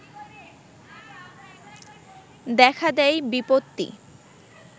দেখা দেয় বিপত্তি